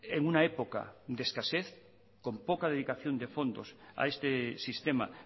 en una época de escasez con poca dedicación de fondos a este sistema